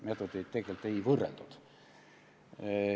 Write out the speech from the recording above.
Meetodeid tegelikult ei võrreldud.